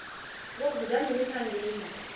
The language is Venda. vho guda mini kha ndima